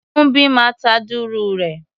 Kúḿbi máa ta dùrù rẹ̀.